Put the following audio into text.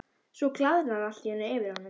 Svo glaðnar allt í einu yfir honum.